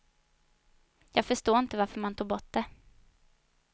Jag förstår inte varför man tog bort det.